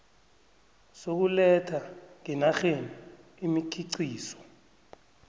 sokuletha ngenarheni imikhiqizo